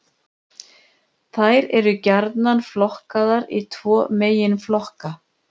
Þær eru gjarnan flokkaðar í tvo meginflokka.